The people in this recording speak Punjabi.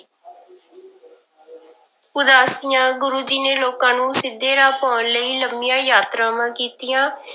ਉਦਾਸੀਆਂ ਗੁਰੂ ਜੀ ਨੇ ਲੋਕਾਂ ਨੂੰ ਸਿੱਧੇ ਰਾਹ ਪਾਉਣ ਲਈ ਲੰਮੀਆਂ ਯਾਤਰਾਵਾਂ ਕੀਤੀਆਂ,